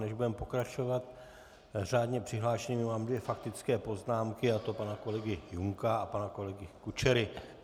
Než budeme pokračovat řádně přihlášenými, mám dvě faktické poznámky, a to pana kolegy Junka a pana kolegy Kučery.